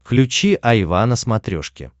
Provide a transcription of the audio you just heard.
включи айва на смотрешке